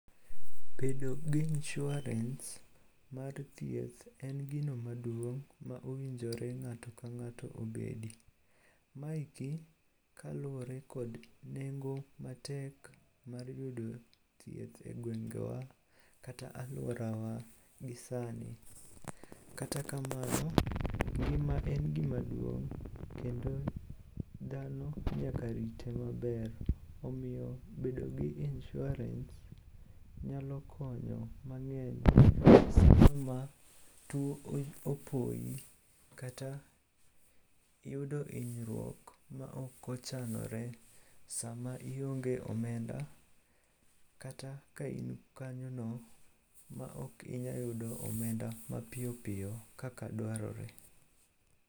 Bedo gi inshuarens mar thieth en gino maduong' ma owinjore ng'ato ka ng'ato obedi. Maeki kaluwore kod nengo matek mar yudo thieth e gwengewa kata alworawa gi sani. Kata kamano, ngima en gima duong' kendo dhano nyaka rite maber omiyo bedo gi inshuarens nyalo konyo mang'eny sano ma tuo opoyi kata iyudo hinyruok maok ochanore sama ionge omenda kata ka in kanyono maok inya yudo omenda mapiyoppiyo kaka dwarore.